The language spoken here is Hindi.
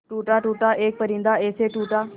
टूटा टूटा एक परिंदा ऐसे टूटा